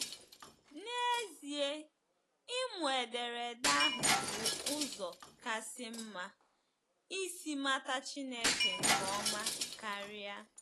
N’ezie, ịmụ ederede ahụ bụ ụzọ kasị mma isi mata Chineke nke ọma karịa.